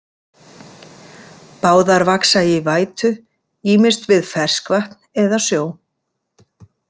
Báðar vaxa í vætu, ýmist við ferskvatn eða sjó.